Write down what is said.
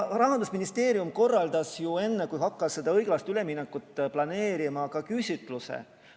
Rahandusministeerium korraldas enne, kui ta hakkas seda õiglast üleminekut planeerima, ka küsitluse.